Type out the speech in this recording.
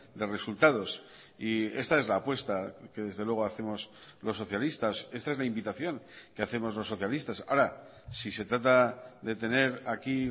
de resultados y esta es la apuesta que desde luego hacemos los socialistas esta es la invitación que hacemos los socialistas ahora si se trata de tener aquí